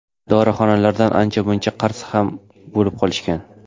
Dorixonalardan ancha-muncha qarz ham bo‘lib qolishgan.